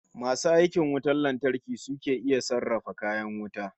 Masu aikin wutar lantarki su ke iya sarrafa kayan wuta